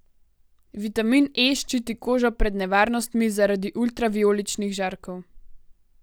Vitamin E ščiti kožo pred nevarnostmi zaradi ultravijoličnih žarkov.